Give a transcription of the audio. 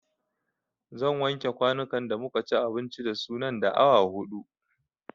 Zan wanke kwanukan da muka ci abinci da su nan da awa huɗu